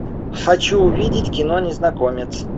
хочу увидеть кино незнакомец